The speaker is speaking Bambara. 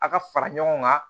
A ka fara ɲɔgɔn kan